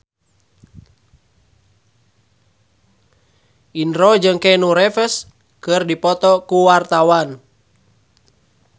Indro jeung Keanu Reeves keur dipoto ku wartawan